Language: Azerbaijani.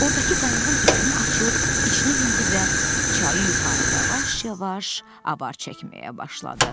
Ordakı qayığın ipini açıb, içinə mindi və çayı yuxarı yavaş-yavaş apar çəkməyə başladı.